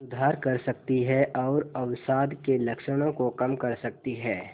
सुधार कर सकती है और अवसाद के लक्षणों को कम कर सकती है